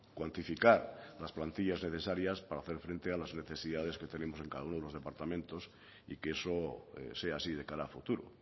cuantificar las plantillas necesarias para hacer frente a las necesidades que tenemos en cada uno de los departamentos y que eso sea así de cara a futuro